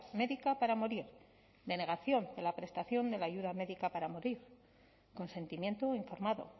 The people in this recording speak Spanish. médica para morir denegación de la prestación de la ayuda médica para morir consentimiento informado